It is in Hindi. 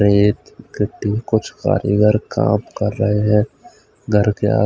कुछ कारीगर काम कर रहे है घर के आ--